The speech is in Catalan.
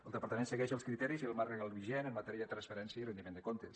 el departament segueix els criteris i el marc legal vigent en matèria de transparència i rendiment de comptes